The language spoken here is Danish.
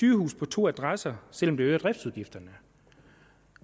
sygehuse på to adresser selv om det øger driftsudgifterne